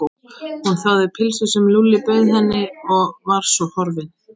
Hún þáði pylsu sem Lúlli bauð henni og var svo horfin.